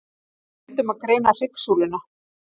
Við reyndum að greina hryggsúluna.